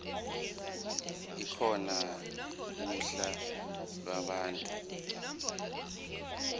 ekhona uhla lwabantu